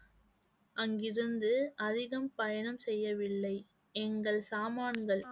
அங்கிருந்து அதிகம் பயணம் செய்யவில்லை எங்கள் சாமான்கள்